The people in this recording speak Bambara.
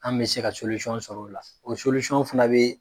An bɛ se ka sɔr'o la. o fana be